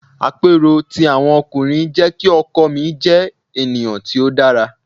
Àpérò ti àwọn ọkùnrin jẹ́ kí ọkọ mi jẹ́ ènìyàn tí ó dára.